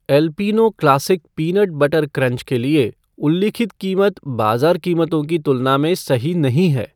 एलपीनो classic peanut butter crunch के लिए उल्लिखित कीमत बाज़ार कीमतों की तुलना में सही नहीं है।